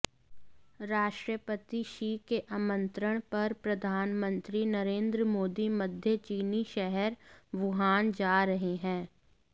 राष्ट्रपति शी के आमंत्रण पर प्रधानमंत्री नरेंद्र मोदी मध्य चीनी शहर वुहान जा रहे हैं